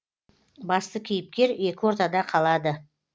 басты кейіпкер екі ортада қалады